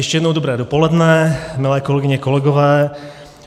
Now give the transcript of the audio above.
Ještě jednou dobré dopoledne, milé kolegyně, kolegové.